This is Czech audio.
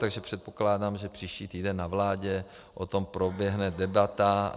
Takže předpokládám, že příští týden na vládě o tom proběhne debata.